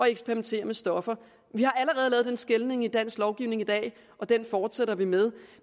eksperimentere med stoffer vi har allerede lavet den skelnen i dansk lovgivning i dag og den fortsætter vi med